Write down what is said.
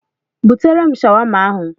Butere m Shawama ahụ!